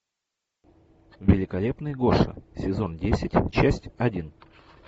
великолепный гоша сезон десять часть один